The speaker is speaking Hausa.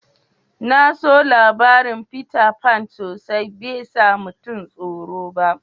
Na so labarin Peter Pan sosai. Bai sa mutum soro ba.